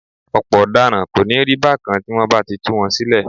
Ọ̀pọ̀ ọ̀daràn kò ní rí bákan tí wọ́n bá ti tú wọn sílẹ̀